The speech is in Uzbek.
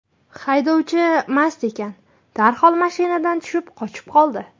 Haydovchisi mast ekan, darhol mashinadan tushib qochib qoldi.